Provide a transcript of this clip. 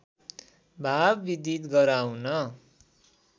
भाव विदित गराउन